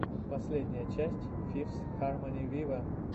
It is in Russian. последняя часть фифс хармони виво